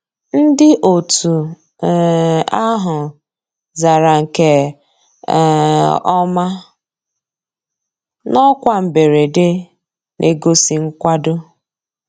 Ndị́ ótú um àhụ́ zàrà nkè um ọ́má ná ọ́kwá mbérèdé, ná-ègósì nkwàdó.